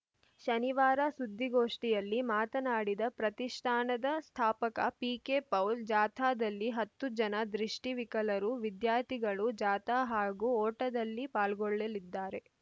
ಶನಿವಾರ ಸುದ್ದಿಗೋಷ್ಠಿಯಲ್ಲಿ ಮಾತನಾಡಿದ ಪ್ರತಿಷ್ಠಾನದ ಸ್ಥಾಪಕ ಪಿಕೆಪೌಲ್‌ ಜಾಥಾದಲ್ಲಿ ಹತ್ತು ಜನ ದೃಷ್ಟಿವಿಕಲರು ವಿದ್ಯಾರ್ಥಿಗಳು ಜಾಥಾ ಹಾಗೂ ಓಟದಲ್ಲಿ ಪಾಲ್ಗೊಳ್ಳಲಿದ್ದಾರೆ